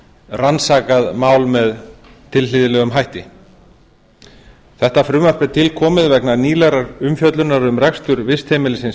rannsakað mál með tilhlýðilegum hætti þetta frumvarp er til komið vegna nýlegrar umfjöllunar um rekstur vistheimilisins